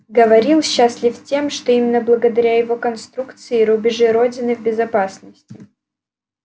говорил счастлив тем что именно благодаря его конструкции рубежи родины в безопасности